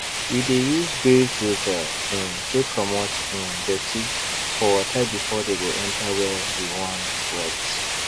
we dey use grave filter um take commot um dirty for water before dey go enter where we wan wet